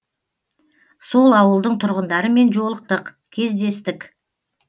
сол ауылдың тұрғындарымен жолықтық кездестік